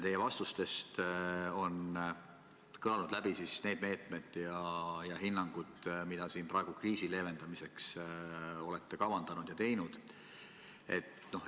Teie vastustest on kõlanud läbi need meetmed ja hinnangud, mida praegu kriisi leevendamiseks olete kavandanud ja teinud.